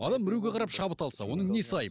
адам біреуге қарап шабыт алса оның несі айып